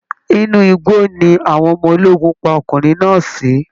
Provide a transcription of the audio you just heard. Inú igbó ni àwọn ọmọ ológun pa ọkùnrin náà sí